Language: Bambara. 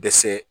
Dɛsɛ